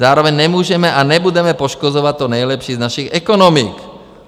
Zároveň nemůžeme a nebudeme poškozovat to nejlepší z našich ekonomik."